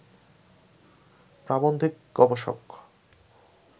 প্রাবন্ধিক-গবেষক